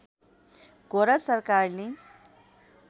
गोरा सरकारले